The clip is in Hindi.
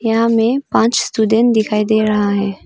यहां में पांच स्टूडेंट दिखाई दे रहा है।